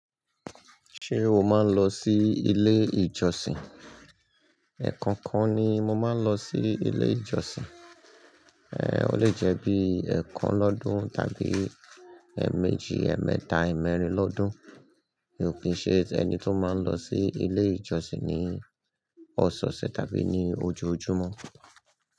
Ṣé o máa ń lọ sí ilé ìjọsìn? Ẹ̀kọ́ọ́kan ni mo máa ń lọ sí ilé ìjọsìn, ẹ́ọ́ lẹ jẹ́ bí i ẹẹ́kàn lọ́dun tàbí ẹ́ẹ̀mèjì, ẹmẹta, ẹ̀ẹ̀mẹ́rin lọ́dún. Mi ò kí ń ṣe ẹni tí ó máa ń lọ sí ilé ìjọsìn ní ọsẹọsẹ tàbí ní ojojúmọ́